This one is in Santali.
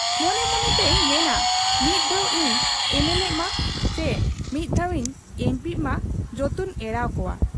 ᱢᱚᱱᱮ ᱢᱚᱱᱮ ᱛᱮᱭ ᱢᱮᱱᱟ ᱢᱤᱫ ᱫᱷᱟᱣ ᱤᱧ ᱮᱢᱮᱞᱮᱜ ᱢᱟ ᱪᱤ ᱢᱤᱫ ᱫᱷᱟᱣ ᱤᱧ ᱮᱢᱯᱤᱜ ᱢᱟ, ᱡᱚᱛᱚᱧ ᱮᱲᱟᱣ ᱠᱚᱣᱟ ᱾